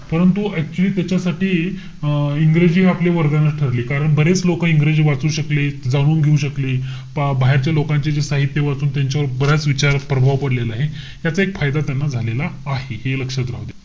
परंतु actually त्याच्यासाठी अं इंग्रजी हे आपले वरदानच ठरले. कारण बरेच लोकं इंग्रजी वाचू शकले. जाणून घेऊ शकले. पा~ बाहेरच्या लोकांचे जे साहित्य वाचून त्यांच्यावर बऱ्याच विचारात प्रभाव पडलेला आहे. याचा एक फायदा त्यांना झालेला आहे. हे लक्षात राहू द्या.